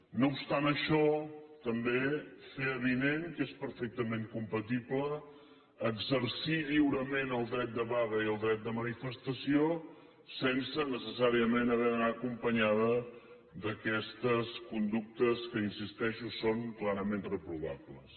no obstant això també fer avinent que és perfectament compatible exercir lliurement el dret de vaga i el dret de manifestació sense necessàriament haver d’anar acompanyada d’aquestes conductes que hi insisteixo són clarament reprovables